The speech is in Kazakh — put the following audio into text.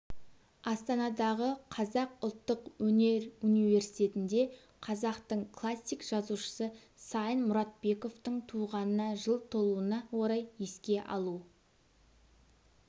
астанадағы қазақ ұлттық өнер университетінде қазақтың классик жазушысы сайын мұратбековтың туғанына жыл толуына орай еске алу